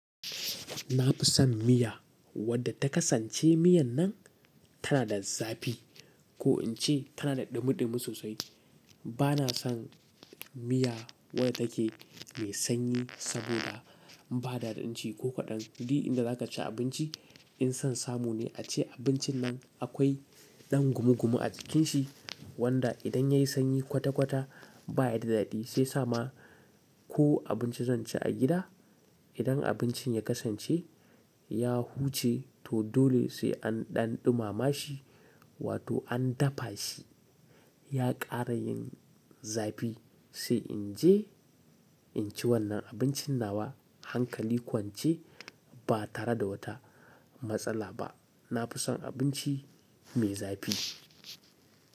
Na fi son miya wadda ta kasance miyan nan tana da zafi ko in ce tana da ɗumi ɗumi sosai. Bana son miya wadda take mai sanyi saboda ba daɗin ci ko kaɗan. Ni inda za ka ci abinci, in son samu ne ace abincin nan akwai ɗan gumu gumu a cikinsa wanda idan ya yi sanyi kwata kwata baya da daɗi, sai sa ma ko abinci zan ci a gida. Idan abincin ya kasance ya huce to dole sai an ɗan ɗumama shi, wato an dafa shi ya ƙara yin zafi sai in je in ci wannan abincin nawa hankali kuwa in ce ba tare da wata matsala ba. Na fi son abinci mai zafi.